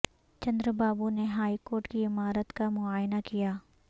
چندرابابو نے high court کی عمارت کا معائنہ کیا